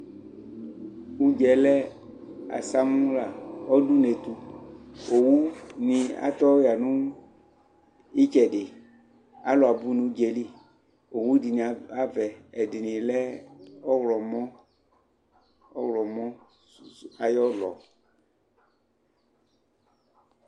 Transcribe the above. ʋdzaɛ lɛ asamla, ɔdʋ ʋnɛ ɛtʋ ɔwʋni atɔ yanʋ ʋnɛ itsɛdi, alʋ abʋ nʋʋdzaɛli, ɔwʋ dini abɛ, ɛdini lɛ ɔwlɔmɔ, ayiɔlɔ